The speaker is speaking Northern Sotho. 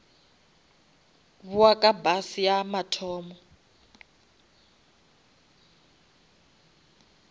bowa ka bus ya mathomo